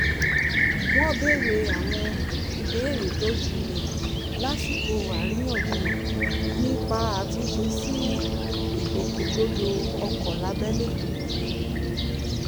wọn béèrè àwọn ìbéèrè tó jinlẹ̀ lásìkò àríyànjiyàn nípa àtúnṣe sí ìgbòkègbodò ọkọ̀ lábẹ́lé